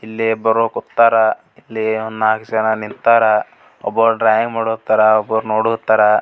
ಇಲ್ಲಿ ಇಬ್ಬರು ಕುಂತ್ತರ್ ಇಲ್ಲಿ ಒಂದ್ ನಾಕ್ ಜನ ನಿಂತರ್ ಒಬ್ಬವ್ ಡ್ರಾಯಿಂಗ್ ಮಾಡೋತ್ತರ್ ಒಬ್ರು ನೋಡುತ್ತರ್ .